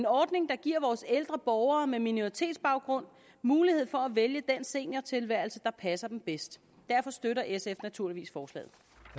ordning der giver vores ældre borgere med minoritetsbaggrund mulighed for at vælge den seniortilværelse der passer dem bedst derfor støtter sf naturligvis forslaget